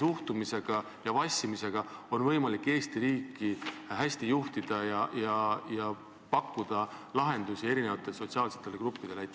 suhtumise ja vassimisega on võimalik Eesti riiki hästi juhtida ja pakkuda lahendusi erinevatele sotsiaalsetele gruppidele?